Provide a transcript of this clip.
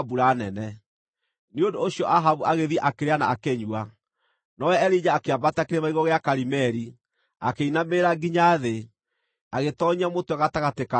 Nĩ ũndũ ũcio Ahabu agĩthiĩ, akĩrĩa na akĩnyua, nowe Elija akĩambata Kĩrĩma igũrũ gĩa Karimeli, akĩinamĩrĩra nginya thĩ, agĩtoonyia mũtwe gatagatĩ ka maru make.